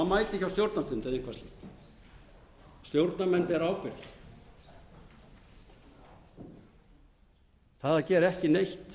á stjórnarfund eða eitthvað slíkt stjórnarmenn bera ábyrgð það að gera ekki neitt